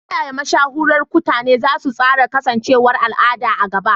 Ta yaya mashahuran kutane za su tsara kasancewar al'ada a gaba?